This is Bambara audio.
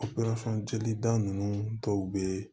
jelida ninnu dɔw be